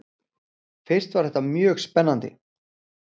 Fyrst var þetta mjög spennandi.